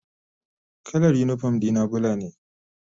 Kalar unipom dina bula ne.